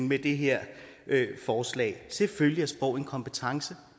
med det her forslag selvfølgelig er sprog en kompetence